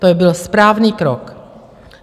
To byl správný krok.